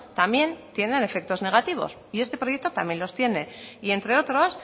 también tienen efectos negativos y este proyecto también los tiene y entre otros